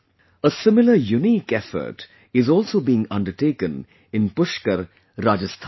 A similar unique effort is also being undertaken in Pushkar, Rajasthan